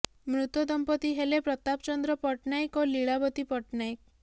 ମୃତ ଦମ୍ପତି ହେଲେ ପ୍ରତାପ ଚନ୍ଦ୍ର ପଟ୍ଟନାୟକ ଓ ଲୀଳାବତୀ ପଟ୍ଟନାୟକ